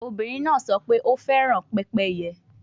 Obinrin naa sọ pe o fẹran pepeye